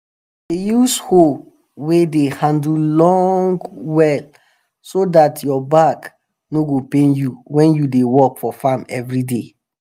dey use hoe wey de handle long well so dat your back no go pain you wen u dey work for farm everyday